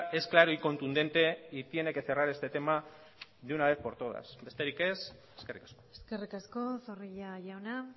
es claro y contundente y tiene que cerrar este tema de una vez por todas besterik ez eskerrik asko eskerrik asko zorrilla jauna